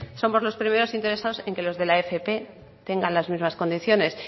somos los primeros interesados en que los que la fp tengan las mismas condiciones